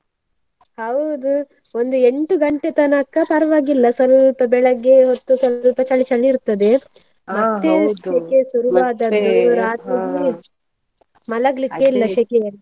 ಹೌದು, ಒಂದು ಎಂಟು ಗಂಟೆ ತನಕ ಪರವಾಗಿಲ್ಲ ಸ್ವಲ್ಪ ಬೆಳಿಗ್ಗೆ ಹೊತ್ತು ಸ್ವಲ್ಪ ಚಳಿ ಚಳಿ ಇರ್ತದೆ, ಮಲಗ್ಲಿಕ್ಕೆ ಶೆಕೆಯಲ್ಲಿ.